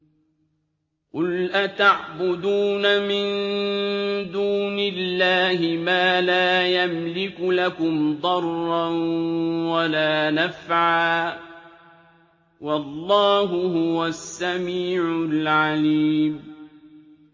قُلْ أَتَعْبُدُونَ مِن دُونِ اللَّهِ مَا لَا يَمْلِكُ لَكُمْ ضَرًّا وَلَا نَفْعًا ۚ وَاللَّهُ هُوَ السَّمِيعُ الْعَلِيمُ